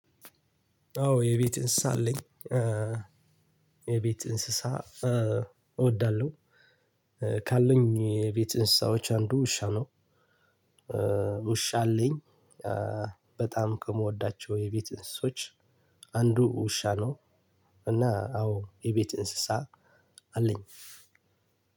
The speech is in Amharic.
አዎ የቤት እንስሳ አለኝ። የቤት እንስሳ እወዳለሁ። ካለኝ የቤት እንስሳዎች አንዱ ውሻ ነው። ውሻ አለኝ። በጣም ከምወዳቸው የቤት እንስሶች። አንዱ ውሻ ነው። እና አዎ የቤት እንስሳ አለኝ።